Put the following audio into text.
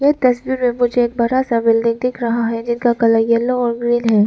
ये तस्वीर में मुझे एक बड़ा सा बिल्डिंग दिख रहा है जिसका कलर येलो और ग्रीन है।